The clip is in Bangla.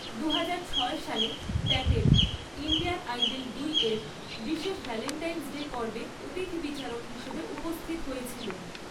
দুহাজার ছয় সালে, প্যাটেল ইন্ডিয়ান আইডল দুই এর বিশেষ ভ্যালেন্টাইনস ডে পর্বে অতিথি বিচারক হিসাবে উপস্থিত হয়েছিলেন।